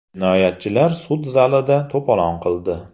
Jinoyatchilar sud zalida to‘polon qildi.